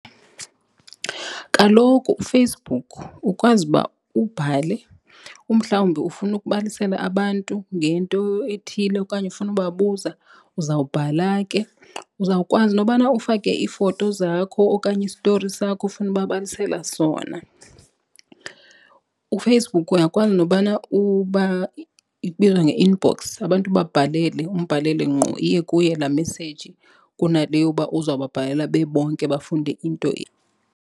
Kaloku uFacebook ukwazi uba ubhale umhlawumbi ufuna ukubalisela abantu ngento ethile okanye ufuna ukubabuza uzawubhala ke. Uzawukwazi nobana ufake iifoto zakho okanye istori sakho ofuna ubabalisela sona. UFacebook uyakwazi nobana ibizwa nge-inbox abantu ubabhalele umbhalele ngqo iye kuye laa message kunale yoba uzawubabhalela bebonke bafunde into .